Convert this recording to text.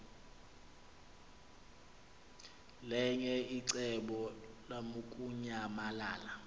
linye icebo lamukunyamalala